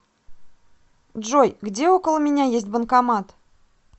джой где около меня есть банкомат